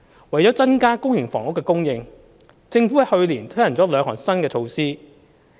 為增加公營房屋供應，政府在去年推行了兩項新措施。